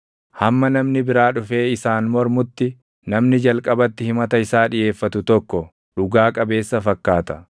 Hamma namni biraa dhufee isaan mormutti, namni jalqabatti himata isaa dhiʼeeffatu tokko // dhugaa qabeessa fakkaata.